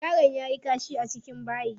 Yaron yayi kashi a cikin bayi.